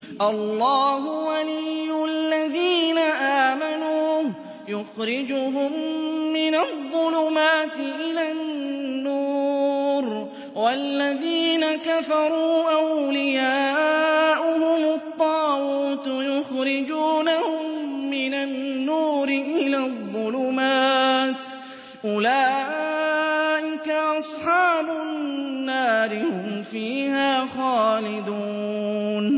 اللَّهُ وَلِيُّ الَّذِينَ آمَنُوا يُخْرِجُهُم مِّنَ الظُّلُمَاتِ إِلَى النُّورِ ۖ وَالَّذِينَ كَفَرُوا أَوْلِيَاؤُهُمُ الطَّاغُوتُ يُخْرِجُونَهُم مِّنَ النُّورِ إِلَى الظُّلُمَاتِ ۗ أُولَٰئِكَ أَصْحَابُ النَّارِ ۖ هُمْ فِيهَا خَالِدُونَ